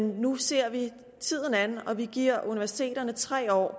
nu ser vi tiden an og vi giver universiteterne tre år